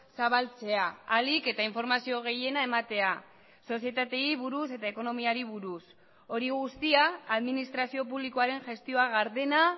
zabaltzea ahalik eta informazio gehiena ematea sozietateei buruz eta ekonomiari buruz hori guztia administrazio publikoaren gestioa gardena